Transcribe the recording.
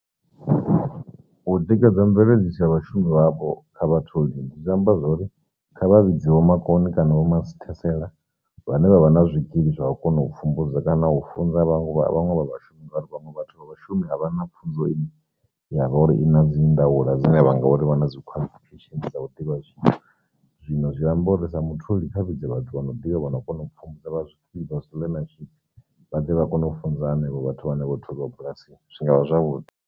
U tikedza mubveledzi tsha vhashumi vhavho kha vhatholi zwi amba zwori kha vha vhidze vho makone kana vho masithesele vhane vhavha na zwikili zwa vha kona pfhumbudza kana u funza vhaṅwe vha vhashumi nga uri vhaṅwe vhathu vha vhashumi a vha na pfhunzo ine ya vha uri i na dzi ndaula dzine vha ngori vha na dzi qualification dza u ḓivha zwithu, zwino zwi amba uri sa mutholi kha vhidze vhathu vha no ḓivha vhano kona pfhumbudza vha zwi vha zwi vhaḓe vha kona u funza henevho vhathu vhane vho tholiwa bulasini zwi ngavha zwavhuḓi.